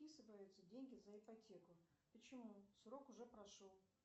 списываются деньги за ипотеку почему срок уже прошел